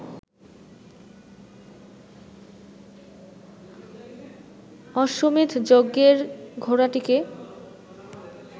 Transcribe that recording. অশ্বমেধ যজ্ঞের ঘোড়াটিকে